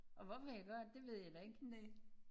Og hvorfor jeg gør det ved jeg da ikke